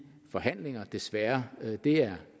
forhandlinger så desværre det er